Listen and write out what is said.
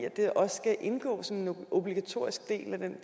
at det også skal indgå som en obligatorisk del af den